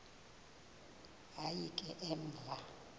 hayi ke emva